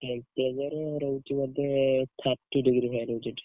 Temperature ରହୁଛି ବୋଧେ thirty degree ଭଳିଆ ରହୁଛି ଏଠି।